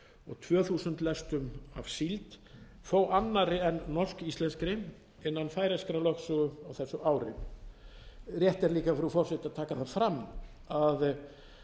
og tvö þúsund lestum af síld þó annarri en norsk íslenskri innan færeyskrar lögsögu á þessu ári rétt er líka frú forseti að taka það fram að